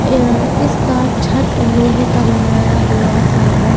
आ इसका छत को लोहे का बनाया हुआ है।